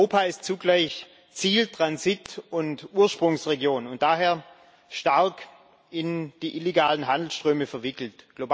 Europa ist zugleich Ziel Transit und Ursprungsregion und daher stark in die illegalen Handelsströme verwickelt.